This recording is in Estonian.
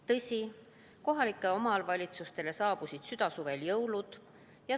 Tõsi, kohalikele omavalitsustele saabusid südasuvel jõulud.